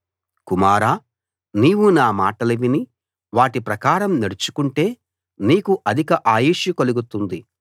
కుమారా నీవు నా మాటలు విని వాటి ప్రకారం నడుచుకుంటే నీకు అధిక ఆయుష్షు కలుగుతుంది